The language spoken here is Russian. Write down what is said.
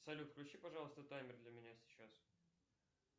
салют включи пожалуйста таймер для меня сейчас